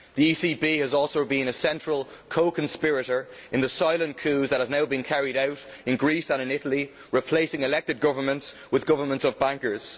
The ECB has also been a central co conspirator in the silent coups that have now been carried out in Greece and in Italy, replacing elected governments with governments of bankers.